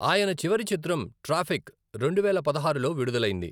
ఆయన చివరి చిత్రం 'ట్రాఫిక్' రెండువేల పదహారులో విడుదలైంది.